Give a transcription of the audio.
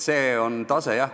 See on see tase, jah.